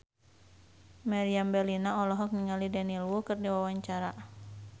Meriam Bellina olohok ningali Daniel Wu keur diwawancara